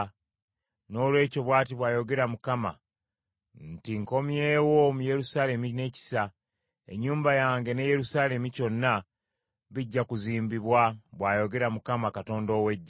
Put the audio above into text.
“Noolwekyo, bw’ati bw’ayogera Mukama nti, ‘Nkomyewo mu Yerusaalemi n’ekisa. Ennyumba yange ne Yerusaalemi kyonna, bijja kuzimbibwa,’ bw’ayogera Mukama Katonda ow’Eggye.